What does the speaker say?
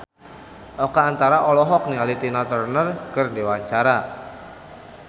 Oka Antara olohok ningali Tina Turner keur diwawancara